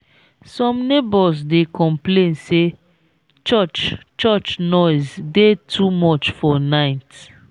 some neighbors dey complain say church church noise dey too much for night.